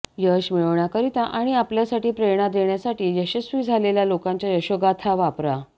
यश मिळविण्याकरिता आणि आपल्यासाठी प्रेरणा देण्यासाठी यशस्वी झालेल्या लोकांच्या यशोगाथा वापरा